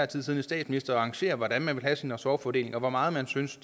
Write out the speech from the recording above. tid siddende statsminister at arrangere hvordan man vil have sin ressortfordeling og hvor meget man synes